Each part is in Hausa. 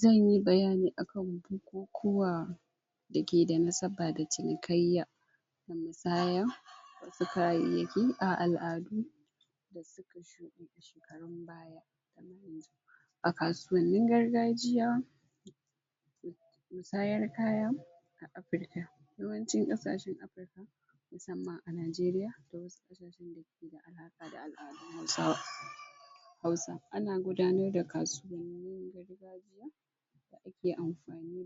Zan yi bayani akan bukukuwa da ke da nasaba da cinikayya da misaya su kayayyaki a al'adu a kasuwannin gargajiya musayar kaya a Afirka, yawancin ƙasashen Afirka musamman a Nigeria da wasu a al'adu na sama Hausa ana gudanar da kasuwanni ke amfani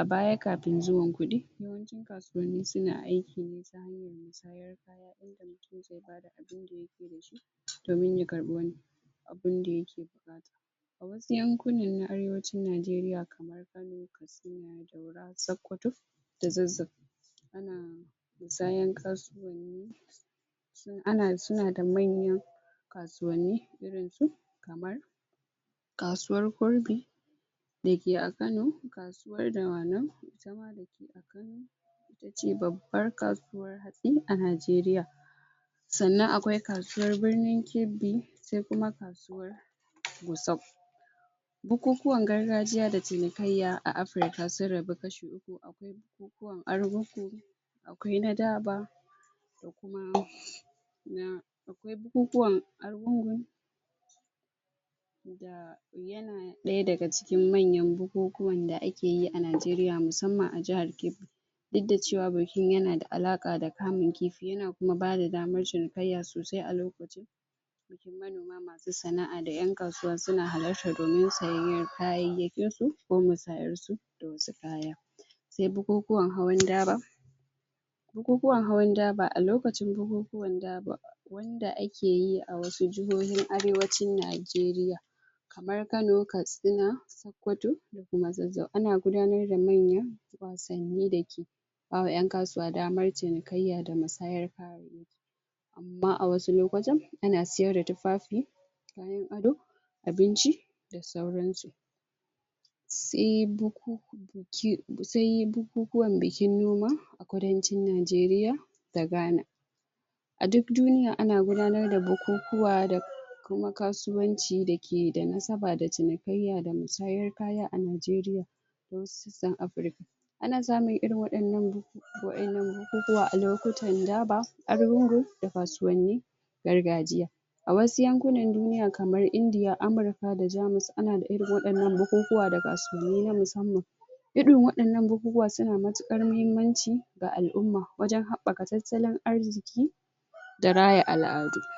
a baya kafin zuwan kuɗi, yawancin kasuwanni suna aiki ne domin ya dinga ganin abinda yake yi a wasu yankunan na Arewancin Najeriya kamar Kano na Sakkwato da Zazzau ana musayan kasuwanni ana suna da manyan kasuwanni irin su kamar kasuwar kurmi da ke a Kano, kasuwar Dawanau ita ma ita ce babbar kasuwar hatsi a Najeriya sannan akwai kasuwar birinin Kebbi sai kuma kasuwar Gusau bukukuwan gargajiya da cinikayya a Africa sun rabu kashi uku, akwai bukukuwan arugungu akwai na daba da kuma na akwai bukukuwan arugungu da yana ɗaya daga cikin manyan bukukuwan da ake yi a Najeriya musamman a jahar Kebbi duk da cewa bikin yana da alaƙa da kamun kifi, yana kuma bada damar cinikayya sosai a lokacin manoma masu sana'a da ƴan kasuwa suna halartar domin sayayyan kayayyakin su ko musayar su da wasu kayan se bukukuwan hawan daba bukukuwan hawan daba, a lokacin bukukuwan daba wanda ake yi a wasu jihohin Arewacin Najeriya kamar Kano, Katsina, Sokkoto da kuma Zazzau ana gudanar da manyan wasanni da ke ba wa ƴan kasuwa damar cinikayya da musayar kaya amma a wasu lokutan ana siyar da tufafi, kayan ado, abinci da sauran su se bukukuwan bikin noma a Kudancin Najeriya da Ghana a duk duniya ana gudanar bukukuwa da kuma kasuwanci da ke da nasaba da cinikayya da musayar kaya a Najeriya don su san Africa ana samun irin waɗannan, waƴannan bukukuwan a lokuta daba arugungun da kasuwanni gargajiya a wasu yankunan duniya kamar India, Amurka da Jamus ana da irin waɗannan bukukuwa da kasuwanni na musamman irin waɗannan bukukuwa suna matuƙar mahimmanci ga al'umma wajen haɓɓaka tattalin arziki da raya al'adu.